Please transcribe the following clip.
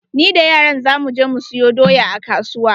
Ni da yaran za mu je mu siyo doya a kasuwa.